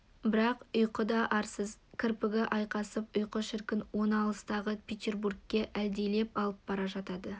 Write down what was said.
бірақ ұйқы да арсыз кірпігі айқасып ұйқы шіркін оны алыстағы петербургке әлдилеп алып бара жатады